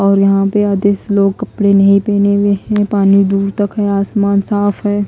और यहां पे आधे लोग कपड़े नहीं पहने हुए हैं पानी दूर तक है आसमान साफ है।